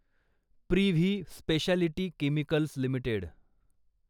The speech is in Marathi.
privy speciality chemicals limited